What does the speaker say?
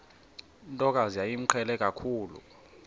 ntokazi yayimqhele kakhulu